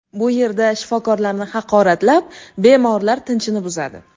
Bu yerda shifokorlarni haqoratlab, bemorlar tinchini buzadi.